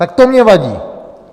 Tak to mně vadí.